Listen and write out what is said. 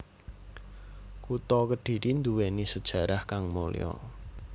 Kutha Kedhiri duwéni sejarah kang mulya